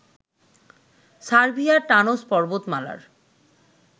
সার্বিয়ার টানজ পর্বতমালার